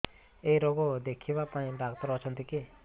ଏଇ ରୋଗ ଦେଖିବା ପାଇଁ ଡ଼ାକ୍ତର ଅଛନ୍ତି କି